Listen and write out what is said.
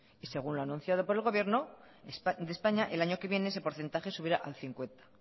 y según lo anunciado por el gobierno de españa el año que viene ese porcentaje subirá al cincuenta